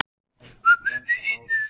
Það skal aldrei gerast.